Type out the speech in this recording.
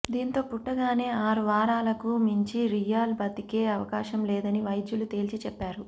దీంతో పుట్టగానే ఆరు వారాలకు మించి లియామ్ బతికే అవకాశం లేదని వైద్యులు తేల్చి చెప్పారు